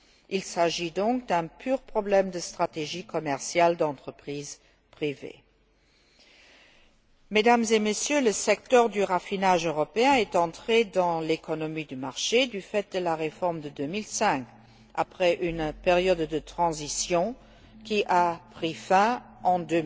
Il s'agit donc d'un pur problème de stratégie commerciale d'entreprises privées. Mesdames et Messieurs, le secteur du raffinage européen est entré dans l'économie de marché du fait de la réforme de 2005, après une période de transition qui a pris fin en